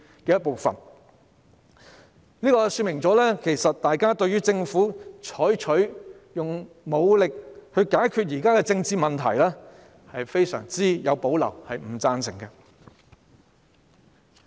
這說明大家對於政府採取武力來解決現時的政治問題，是非常有保留和不贊成的。